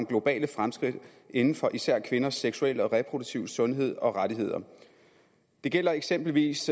globale fremskridt inden for især kvinders seksuelle og reproduktive sundhed og rettigheder det gælder eksempelvis